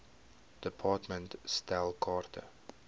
department stel kaarte